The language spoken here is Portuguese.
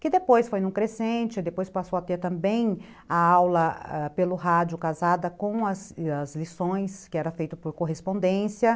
Que depois foi num crescente, depois passou a ter também a aula ãh pelo rádio casada com as lições que era feito por correspondência.